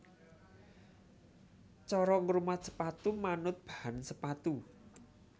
Cara ngrumat sepatu manut bahan sepatu